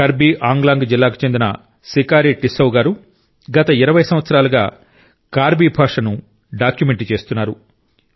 కర్బీ ఆంగ్లాంగ్ జిల్లాకు చెందిన సికారి టిస్సౌ గారు గత 20 సంవత్సరాలుగా కార్బీ భాషను డాక్యుమెంట్ చేస్తున్నారు